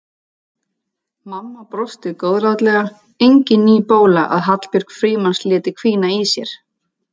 Mamma brosti góðlátlega, engin ný bóla að Hallbjörg Frímanns léti hvína í sér.